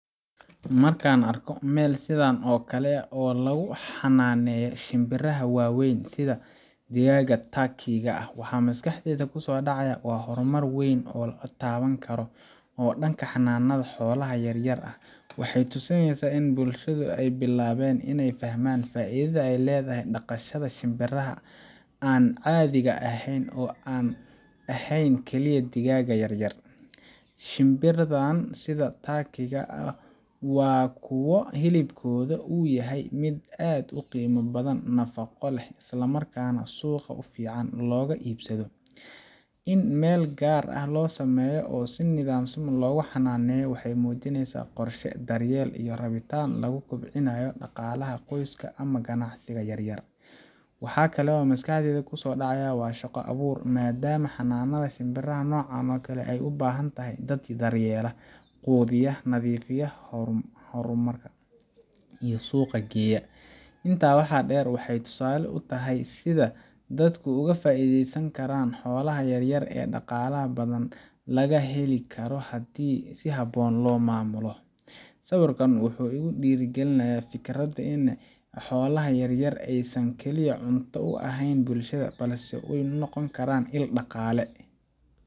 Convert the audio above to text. Markaan argo meel sidhan ooo kale eeh oo lagu xananayo shimbaraha waweyn, sidha digaga turky ga eeh, mxaa maskaxdeydha ku so dacayo? Wa hormaar weyn ooo la tawani karo ood dhanka xolaha yaar yaar eeh. Mxeey tusinaysa in bulshadha aay bilaweyn inaay fahman faaidhadha ay ledahay dhaqashadha shimbaraha aan caadhiga aheyn, aan ahayn kaliya digagaha yaryar. Shibarahan sidha turkyga wa kuwa hilibkodha oo yahay miit aad u qima badan nafaqo leeh, isla markana suqa si fcn loga ibsadho. In meel gaar eeh lo samayo ooo sii nidhamsan loo ga xananayo. Mxeey mujinaysaa qorsho daryeel iyo rabitaan lugu kobcinayo daqalaha qoos ka ama ganacsiga yar yaar. Mxaa kale maskaxdheydha ku so dacayo wa shaqo abuur, madaama xananaha shimaraha noocaan oo kale aay ubahantahay daat daryeelo, kuwa biyaha nadifiyo, hormariyo iyo suqa geeyo. Intaa waxa dheer, waxaa tusale utahay sidha datka ugu faideysasni karaan xolaha yar yaar, oo dhaqalaha badan laga helo karo, hadee si haboon lo mamulo. Sawirkan wuxuu igu dhira galinaya fikirad in xolaha yaar yaar aysaan kaliya cunta u ahayn bulshadha, balsee ay u noqoni karaan iil dhaqale.